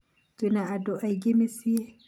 twĩna andũ aingĩ mĩciĩ